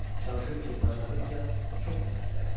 Çalışırdı ki, bacardıqca çox nəfəs dərsin.